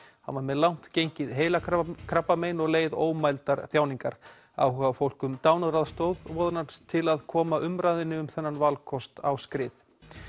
hann var með langt gengið heilakrabbamein og leið ómældar þjáningar áhugafólk um dánaraðstoð vonast til að koma umræðunni um þennan valkost á skrið